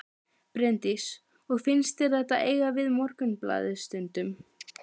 Bryndís: Og finnst þér þetta eiga við Morgunblaðið stundum?